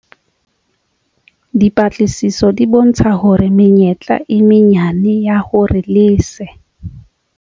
Dipatlisiso di bontsha hore menyetla e menyane ya hore lese